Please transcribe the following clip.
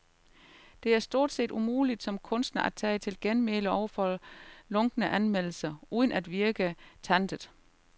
Det er stort set umuligt som kunstner at tage til genmæle over for lunkne anmeldelser, uden at virke tantet.